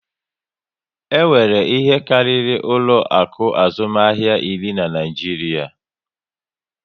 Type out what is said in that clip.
E nwere ihe karịrị ụlọ akụ azụmahịa iri na Naịjiria